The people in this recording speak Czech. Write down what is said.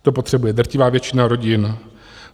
To potřebuje drtivá většina rodin.